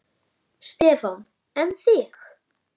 Stefán: En þig?